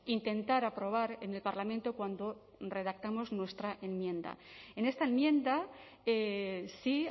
intentar aprobar en el parlamento cuando redactamos nuestra enmienda en esta enmienda sí